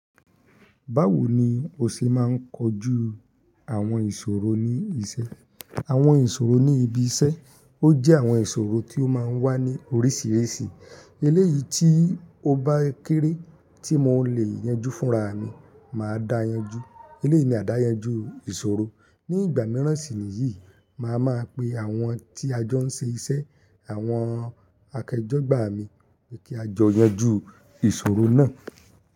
Báwo ni ó ṣe máa ń kojú àwọn ìṣòro ní iṣẹ́? Àwọn ìṣòro ní ibi iṣẹ́, ó jẹ́ àwọn ìṣòro tí ó máa ń wá ní oríṣiríṣi. Eléyìí tí ó bá kéré tí mo lè yanjú fúnraamí, màá dáyanjú. Eléyìí ni àdáyanjú ìṣòro. Ní ìgbà mìíràn sì níyìí, màá máa pe àwọn tí ajọ́ ń ṣe iṣẹ́, àwọn akẹjọ gbà mi pé kí a jọ yanjú ìṣòro náà.